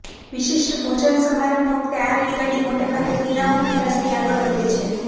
વિશિષ્ટ ભોજનસમારંભ વખતે આ રેલગાડી મોટેભાગે પીણાંઓ પીરસતી આગળ વધે છે